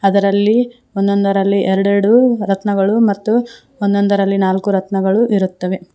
ಅದರಲ್ಲಿ ಒಂದೊಂದರಲ್ಲಿ ಎರಡೆರಡು ರತ್ನಗಳು ಮತ್ತು ಒಂದೊಂದರಲ್ಲಿ ನಾಲ್ಕು ರತ್ನಗಳು ಇರುತ್ತವೆ.